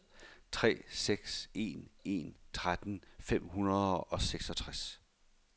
tre seks en en tretten fem hundrede og seksogtres